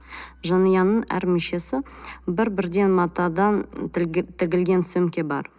жанұяның әр мүшесі бір бірден матадан тігілген сөмке бар